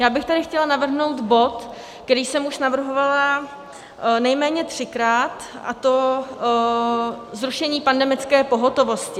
Já bych tady chtěla navrhnout bod, který jsem už navrhovala nejméně třikrát, a to zrušení pandemické pohotovosti.